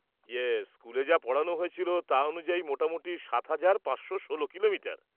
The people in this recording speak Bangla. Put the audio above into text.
-ইয়ে, স্কুলে যা পড়ানো হয়েছিল, তা অনুযায়ী, মোটামুটি সাত হাজার পাঁচশো ষোলো কিলোমিটার?